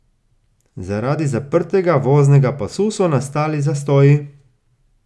Zaradi zaprtega voznega pasu so nastajali zastoji.